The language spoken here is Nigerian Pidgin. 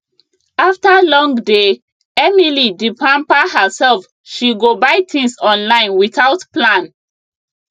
after long day emily d pamper herself she go buy things online without plan